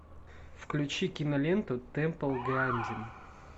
включи киноленту тэмпл грандин